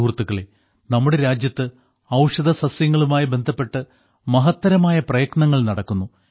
സുഹൃത്തുക്കളേ നമ്മുടെ രാജ്യത്ത് ഔഷധസസ്യങ്ങളുമായി ബന്ധപ്പെട്ട് മഹത്തരമായ പ്രയത്നങ്ങൾ നടക്കുന്നു